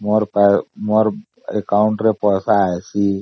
ମୋର account କୁ ପଇସା ଆସିଛି